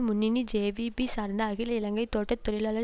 முன்னணி ஜேவிபி சார்ந்த அகில இலங்கை தோட்ட தொழிலாளர்